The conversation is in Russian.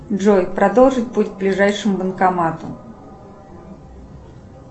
джой продолжить путь к ближайшему банкомату